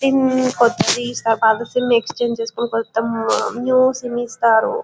కొత్తది ఇస్తారు. పాత సిం ఎక్స్చేంజి చేసుకొని తీసుకోని కొత్త న్యూ సిం ఇస్తారు.